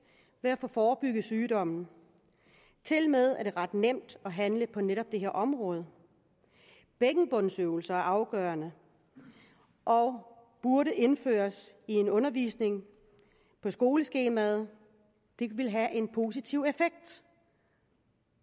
ved at få forebygget sygdommen tilmed er det ret nemt at handle på netop det her område bækkenbundsøvelser er afgørende og burde indføres i en undervisning på skoleskemaet det ville have en positiv effekt